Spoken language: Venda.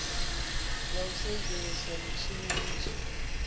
ya u sudzulusa mitshini miswa